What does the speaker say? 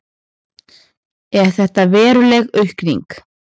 Er þetta veruleg aukning?